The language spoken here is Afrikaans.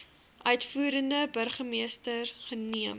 uitvoerende burgermeester neem